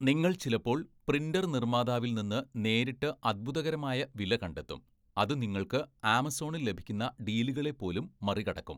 നിങ്ങൾ ചിലപ്പോൾ പ്രിൻറ്റർ നിർമ്മാതാവിൽ നിന്ന് നേരിട്ട് അത്ഭുതകരമായ വില കണ്ടെത്തും, അത് നിങ്ങൾക്ക് ആമസോണിൽ ലഭിക്കുന്ന ഡീലുകളെ പോലും മറികടക്കും.